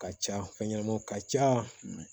Ka ca fɛn ɲɛnamaw ka ca